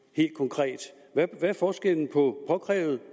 helt konkret hvad forskellen på påkrævet